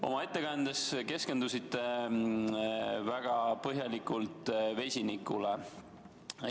Oma ettekandes te keskendusite väga põhjalikult vesinikule.